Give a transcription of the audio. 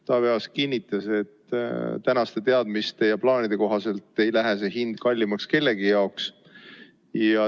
Taavi Aas kinnitas, et tänaste teadmiste ja plaanide kohaselt ei lähe see hind kellegi jaoks kallimaks.